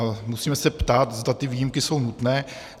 A musíme se ptát, zda ty výjimky jsou nutné.